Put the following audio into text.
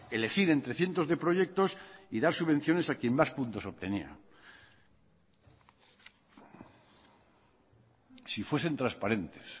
elegir entre cientos de proyectos y dar subvenciones a quien más puntos obtenía si fuesen transparentes